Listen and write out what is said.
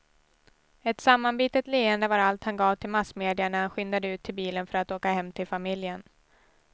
Ett sammanbitet leende var allt han gav till massmedia när han skyndade ut till bilen för att åka hem till familjen.